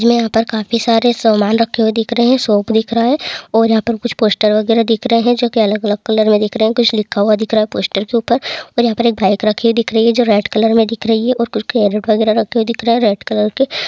हमें यहाँ पर काफी सारा सामान रखे हुए दिख रहे हैं शॉप दिख रहा है| और यहाँ पे कुछ पोस्टर वगेरह दिख रहे हैं जो की अलग-अलग कलर में दिख रहे हैं| कुछ लिखा हुआ दिख रहा है पोस्टर के ऊपर और यहाँ पे एक बाइक रखी हुई दिख रही है जो रेड कलर में दिख रही है| और कुछ कैरेट वगेरह रखे हुए दिख रहे हैं रेड कलर के।